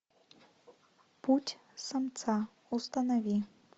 путь самца установи